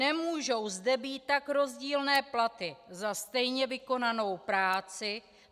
Nemůžou zde být tak rozdílné platy za stejně vykonanou práci.